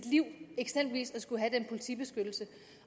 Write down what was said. liv eksempelvis at skulle have den politibeskyttelse